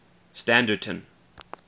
standerton